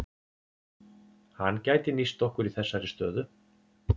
Hann gæti nýst okkur í þessari stöðu.